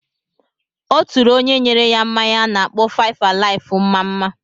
Ọ tụrụ onye nyere ya mmanya a na-akpọ 5-alive mma-mma.